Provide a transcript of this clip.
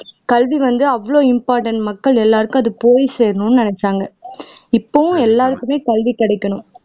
கல்வி வந்து அவ்வளவு இம்பார்ட்டன்ட் மக்கள் எல்லோருக்கும் அது போய் சேரணும்னு நினைச்சாங்க இப்பவும் எல்லாருக்குமே கல்வி கிடைக்கணும்